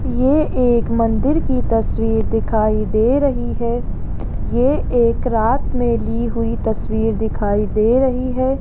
ये एक मंदिर की तस्वीर दिखाई दे रही है ये एक रात में ली हुई तस्वीर दिखाई दे रही है।